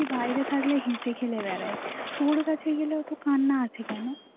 তুই বাইরে থাকলে হেসে খেলে বেড়ায়. তোর কাছে গেলেও তো কান্না আছে কেন